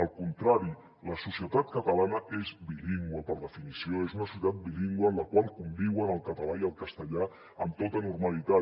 al contrari la societat catalana és bilingüe per definició és una societat bilingüe en la qual conviuen el català i el castellà amb tota normalitat